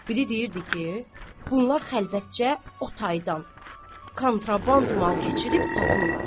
Biri deyirdi ki, bunlar xəlvətcə o taydan kontraband mal keçirib satırlar.